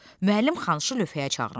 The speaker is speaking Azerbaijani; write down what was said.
Müəllim Xanıshı lövhəyə çağırmışdı.